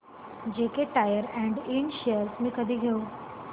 JK tyre and इंड shares मी कधी घेऊ